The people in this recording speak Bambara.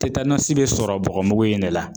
bɛ sɔrɔ bɔgɔmugu in de la